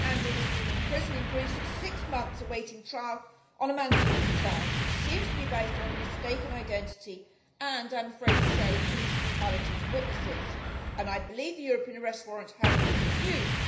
Andrew has been in prison in Greece for six months awaiting trial on a manslaughter charge which seems to be based on mistaken identity and, I am afraid to say, police brutality to witnesses, and I believe the European Arrest Warrant has been misused.